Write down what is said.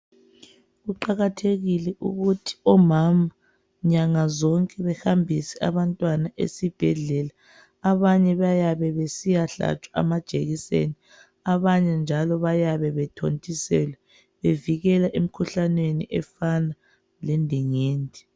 Kuqakathekile ukuthi omama nyanga zonke behambise abantwana esibhedlela. Abanye bayabe besiyahlatshwa amajekiseni abanye njalo bayabe bethontiselwa bevikelwa emkhuhlaneni efana lendingindi.